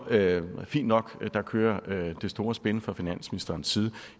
fint nok der kører det store spin fra finansministerens side